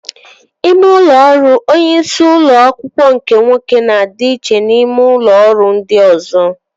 Ime ụlọ ọrụ onye isi ụlọ akwụkwọ nke nwoke na-adị iche na ime ụlọ ọrụ ndị ọzọ